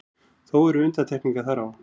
Þó eru undantekningar þar á.